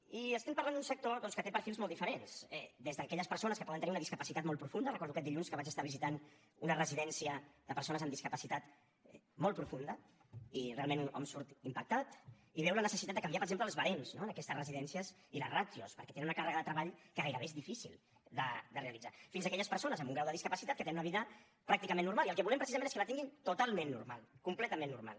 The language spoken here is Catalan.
i parlem d’un sector doncs que té perfils molt diferents des d’aquelles persones que poden tenir una discapacitat molt profunda recordo aquest dilluns que vaig visitar una residència de persones amb discapacitat molt profunda i realment hom surt impactat i veu la necessitat de canviar per exemple els barems no en aquesta residències i les ràtios perquè tenen una càrrega de treball que gairebé és difícil de realitzar fins a aquelles persones amb un grau de discapacitat que tenen una vida pràcticament normal i el que volem precisament és que la tinguin totalment normal completament normal